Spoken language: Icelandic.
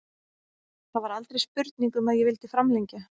Það var aldrei spurning um að ég vildi framlengja.